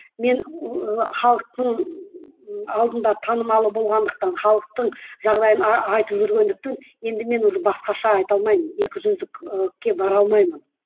мен ы халықтың алдында танымалы болғандықтан халықтың жағдайын айтып жүргендіктен енді мен уже басқаша айта алмаймын екі жүзділікке бар алмаймын